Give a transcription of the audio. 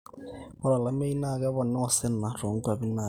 ore olameyu naa kepoonaa osina toonkuapi naatii